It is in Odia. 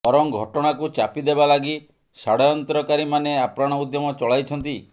ବରଂ ଘଟଣାକୁ ଚାପି ଦେବା ଲାଗି ଷଡ଼୍ଯନ୍ତ୍ରକାରୀମାନେ ଆପ୍ରାଣ ଉଦ୍ୟମ ଚଳାଇଛନ୍ତି